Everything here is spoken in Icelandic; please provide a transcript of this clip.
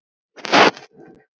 En öllu má nú ofgera.